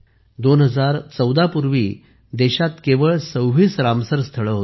तर 2014 पूर्वी देशात केवळ २६ रामसर स्थळे होती